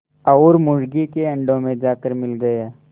और मुर्गी के अंडों में जाकर मिल गया